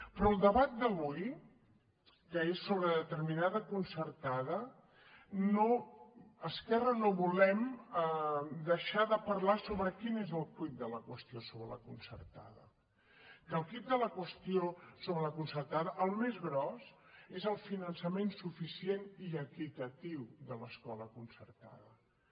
però al debat d’avui que és sobre determinada concertada esquerra no volem deixar de parla sobre quin és el quid de la qüestió sobre la concertada que el quid de la qüestió sobre la concertada el més gros és el finançament suficient i equitatiu de l’escola concertada